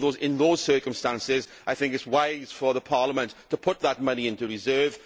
In those circumstances I think it is wise for Parliament to put that money into reserve.